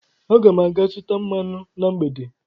Aga m aga zụta mmanụ na mgbede.